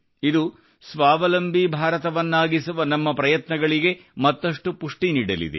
ಇದು ಸ್ವಾವಲಂಬಿ ಭಾರತವನ್ನಾಗಿಸುವ ನಮ್ಮ ಪ್ರಯತ್ನಗಳಿಗೆ ಮತ್ತಷ್ಟು ಪುಷ್ಠಿ ನೀಡಲಿದೆ